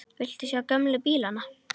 Viltu sjá gömlu bílana?